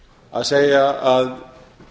að segja að